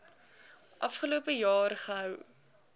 afgelope jaar gehou